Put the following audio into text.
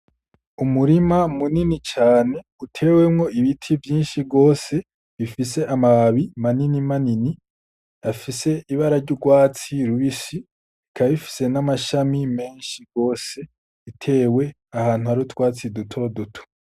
Umurima munini cane, utewemwo ibiti vyinshi gose bifise amababi manini manini, afise ibara ry'urwatsi rubisi, bikaba bifise n'amashami menshi gose, bitewe ahantu hari utwatsi dutoduto.